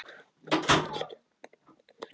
HINSTA KVEÐJA Elsku Úlli minn.